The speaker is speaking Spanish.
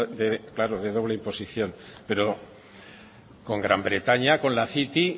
de claro de doble imposición pero con gran bretaña con la city